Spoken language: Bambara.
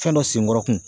Fɛn dɔ senkɔrɔ kun